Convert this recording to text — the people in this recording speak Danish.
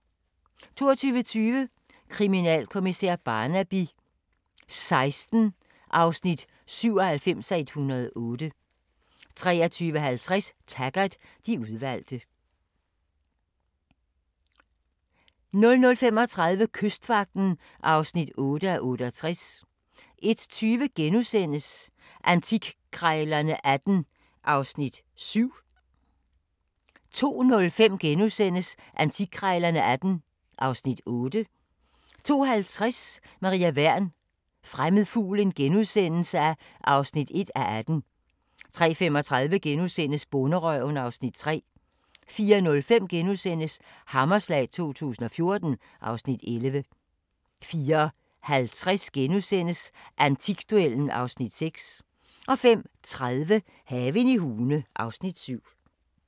22:20: Kriminalkommissær Barnaby XVI (97:108) 23:50: Taggart: De udvalgte 00:35: Kystvagten (8:68) 01:20: Antikkrejlerne XVIII (Afs. 7)* 02:05: Antikkrejlerne XVIII (Afs. 8)* 02:50: Maria Wern: Fremmed fugl (1:18)* 03:35: Bonderøven (Afs. 3)* 04:05: Hammerslag 2014 (Afs. 11)* 04:50: Antikduellen (Afs. 6)* 05:30: Haven i Hune (Afs. 7)